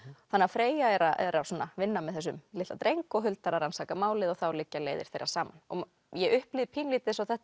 Freyja er að er að vinna með þessum litla dreng og Huldar að rannsaka málið og þá liggja leiðir þeirra saman ég upplifði pínulítið eins og þetta